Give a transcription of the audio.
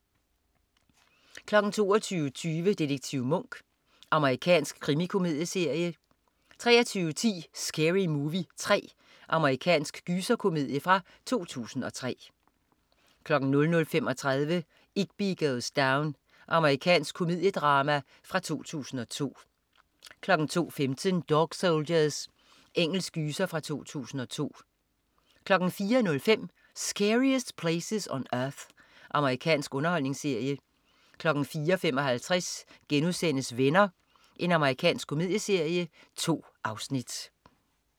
22.20 Detektiv Monk. Amerikansk krimikomedieserie 23.10 Scary Movie 3. Amerikansk gyserkomedie fra 2003 00.35 Igby Goes Down. Amerikansk komediedrama fra 2002 02.15 Dog Soldiers. Engelsk gyser fra 2002 04.05 Scariest Places on Earth. Amerikansk underholdningsserie 04.55 Venner.* Amerikansk komedieserie. 2 afsnit